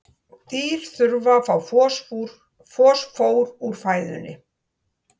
Dýr þurfa að fá fosfór úr fæðunni.